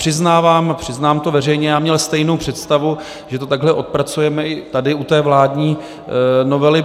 Přiznávám, přiznávám to veřejně, já měl stejnou představu, že to takhle odpracujeme i tady u té vládní novely.